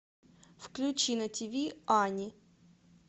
включи на тиви ани